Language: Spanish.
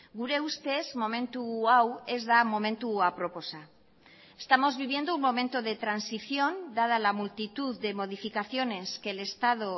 gure ustez momentu hau ez da momentu aproposa estamos viviendo un momento de transición dada la multitud de modificaciones que el estado